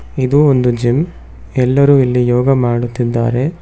ಇದು ಒಂದು ಜಿಮ್ ಎಲ್ಲರೂ ಇಲ್ಲಿ ಯೋಗ ಮಾಡುತ್ತಿದ್ದಾರೆ.